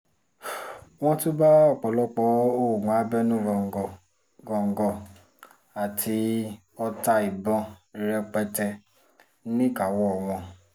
wọ́n tún bá ọ̀pọ̀lọpọ̀ oògùn abẹ́nú góńgó góńgó àti ọta ìbọn rẹpẹtẹ níkàáwọ́ wọn